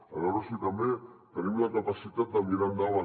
a veure si també tenim la capacitat de mirar endavant